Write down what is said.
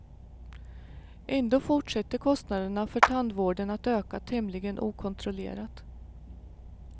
Ändå fortsätter kostnaderna för tandvården att öka tämligen okontrollerat.